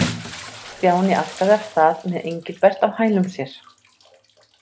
Stjáni arkaði af stað með Engilbert á hælum sér.